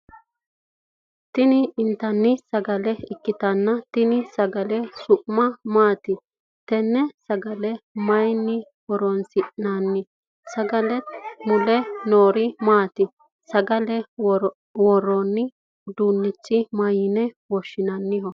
Tinni intanni sagale ikitanna tenne sagale su'mi maati? Tenne sagale mayinni horoonsi'nanni? Sagale mule noori maati? Sagale woroonni uduunichi mayinni loonsoonniho?